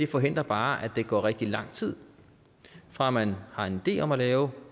forhindrer bare at der går rigtig lang tid fra man har en idé om at lave